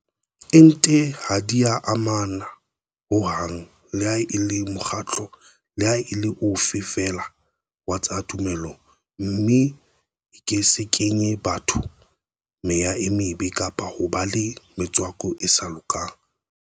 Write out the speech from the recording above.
Ente ha di a amana ho hang leha e le mokgatlo leha e le ofe feela wa tsa tumelo mme e ke se kenye batho meya e mebe kapa hoba le metswako e sa lokang.